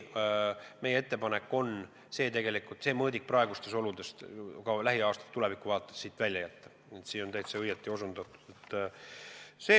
Meie ettepanek ongi see mõõdik praegustes oludes lähiaastate tulevikuvaatest välja jätta, nii et see on täitsa õigesti osutatud.